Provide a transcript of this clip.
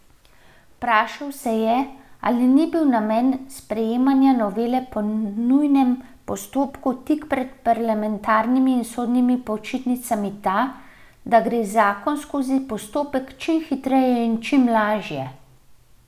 Vprašal se je, ali ni bil namen sprejemanja novele po nujnem postopku tik pred parlamentarnimi in sodnimi počitnicami ta, da gre zakon skozi postopek čim hitreje in čim lažje.